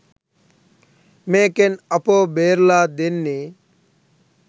මේකෙන් අපව බේරලා දෙන්නේ